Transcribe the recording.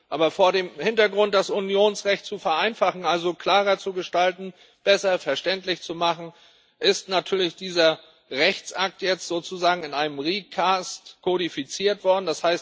Aber vor dem Hintergrund, das Unionsrecht zu vereinfachen, also klarer zu gestalten, besser verständlich zu machen, ist natürlich dieser Rechtsakt jetzt sozusagen in einer Neufassung kodifiziert worden.